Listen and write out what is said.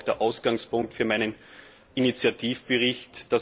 Das war auch der Ausgangspunkt für meinen Initiativbericht.